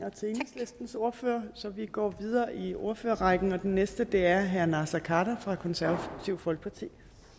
så ordfører så vi går videre i ordførerrækken og den næste er herre naser khader fra konservative folkeparti